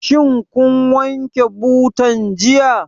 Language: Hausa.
Shin kin wanke butan jiya?